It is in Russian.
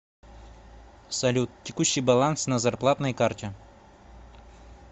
салют текущий баланс на зарплатной карте